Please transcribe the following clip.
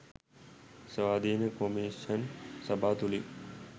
ස්වාධීන කොමිෂන් සභා තුළින්